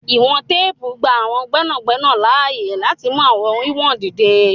Iwọn tèèpu ngba àwọn gbẹnagbẹna laaye lati mú àwọn wiwọn dídẹ̀.